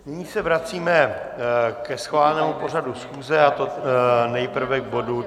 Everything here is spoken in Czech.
Nyní se vracíme ke schválenému pořadu schůze, a to nejprve k bodu